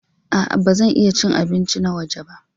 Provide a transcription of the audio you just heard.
A'a, ba zan iya cin abinci na waje ba.